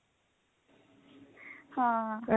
ਹਾਂ